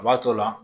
A b'a tɔ la